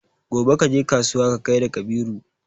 gobe kaje kasuwa ka gaida Kabiru